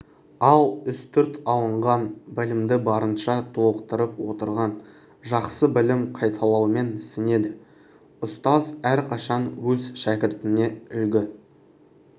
ал үстірт алынған білімді барынша толықтырып отырған жақсы білім қайталаумен сіңеді ұстаз әрқашан өз шәкіртіне үлгі